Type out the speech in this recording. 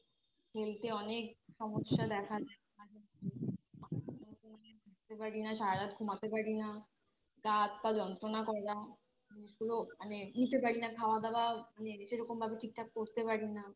Health এ অনেক সমস্যা দেখা দিয়েছে থাকতে পারি না সারা রাত ঘুমোতে পারি না গা হাত পা যন্ত্রনা করা জিনিসগুলো মানে নিতে পারি না খাওয়া দাওয়া মানে সেরকমভাবে ঠিকঠাক করতে পারি না